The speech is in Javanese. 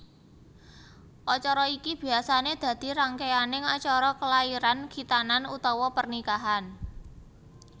Acara iki biasané dadi rangkéyaning acara kelairan khitanan utawa pernikahan